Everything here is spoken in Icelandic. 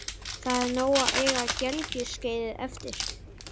Það er nóg að eiga gelgjuskeiðið eftir.